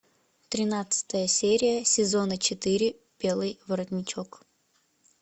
тринадцатая серия сезона четыре белый воротничок